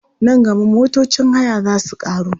Nan gaba motocin haya za su ƙaru.